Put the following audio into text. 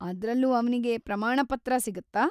ಅದ್ರಲ್ಲೂ ಅವ್ನಿಗೆ ಪ್ರಮಾಣಪತ್ರ ಸಿಗುತ್ತಾ?